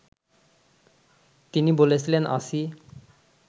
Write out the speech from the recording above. তিনি বলেছিলেন, আছি